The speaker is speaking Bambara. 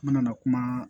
N nana kuma